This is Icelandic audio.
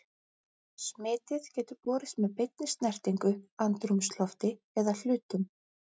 Smitið getur borist með beinni snertingu, andrúmslofti eða hlutum.